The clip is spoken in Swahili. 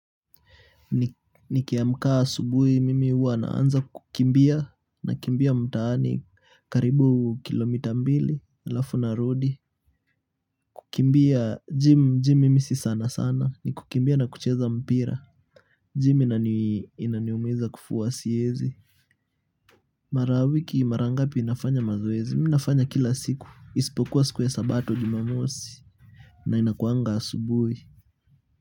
Nikiamka asubuhi mimi huwa naanza kukimbia nakimbia mtaani karibu kilomita mbili alafu narudi kukimbia jim jim mimi si sana sana ni kukimbia na kucheza mpira jim inaniumiza kufua siwezi mara wiki mara ngapi nafanya mazoezi mimi nafanya kila siku isipokuwa siku ya sabato jumamosi na inakuanga asubuhi.